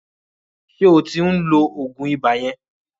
Ṣé o ti ń lo òògùn ibà yẹn?